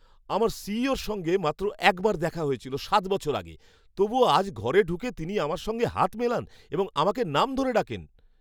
আমার সিইওর সঙ্গে মাত্র একবার দেখা হয়েছিল সাত বছর আগে, তবুও আজ ঘরে ঢুকে তিনি আমার সঙ্গে হাত মেলান এবং আমাকে নাম ধরে ডাকেন!